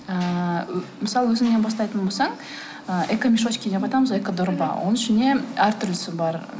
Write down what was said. ыыы мысалы өзіңнен бастайтын болсаң ыыы экомешочки деп айтамыз ғой экодорба оның ішінде әртүрлісі бар